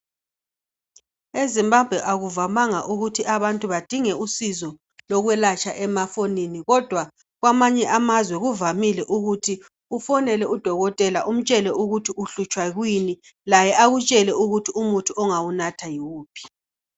Ezimbabwe akuvamanga ukuthi abantu badinge usizo lokwelatshwa emafonini kodwa kwamanye amazwe kuvamile ukuthi ufonele udokotela umtshele uhlutshwa yikuyini laye akutshele ukuthi umuthi ongawunatha yiwuphi.